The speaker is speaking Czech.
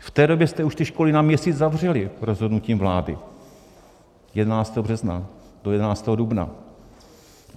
V té době jste už ty školy na měsíc zavřeli rozhodnutím vlády - 11. března do 11. dubna.